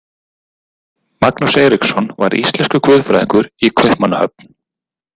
Magnús Eiríksson var íslenskur guðfræðingur í Kaupmannahöfn.